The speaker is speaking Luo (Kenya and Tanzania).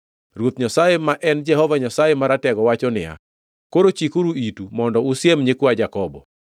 Ruoth Nyasaye, ma en Jehova Nyasaye Maratego wacho niya, “Koro chikuru itu mondo usiem nyikwa Jakobo.